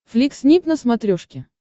флик снип на смотрешке